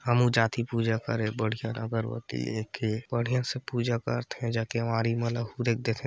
हमु जाथी पूजा करे बढ़िया ल अगरबत्ती लेके बड़ियां से पूजा करथे